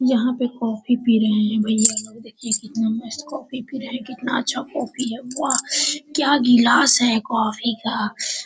यहाँ पर कॉफी पी रहे हैं भैया लोग देखिए कितना मस्त कॉफी पी रहे हैं कितना अच्छा काफी है वाह क्या गिलास है कॉफी का --